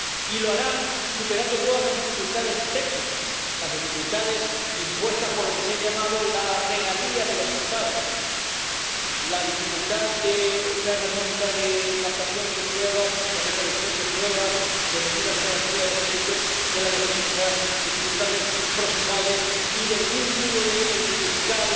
Y lo hará superando todas las dificultades técnicas, las dificultades impuestas por lo que se ha llamado la regalía de los Estados, una herramienta de captación de pruebas, de recolección de pruebas, de medidas de garantía de los derechos, de la defensa, dificultades procesales y el vínculo del fiscal